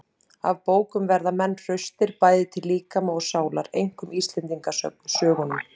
Af bókum verða menn hraustir, bæði til líkama og sálar. einkum íslendingasögunum.